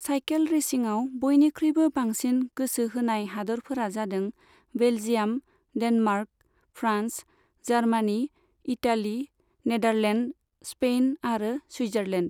Cycle रेसिंआव बयनिख्रुइबो बांसिन गोसो होनाय हादोरफोरा जादों, Belgium, Denmark, France, Germany, Italy, Netherland, Spain और सुइटजारलेन्ड।